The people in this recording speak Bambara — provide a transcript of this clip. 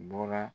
Bɔra